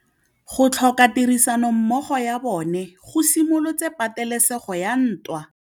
Go tlhoka tirsanommogo ga bone go simolotse patêlêsêgô ya ntwa.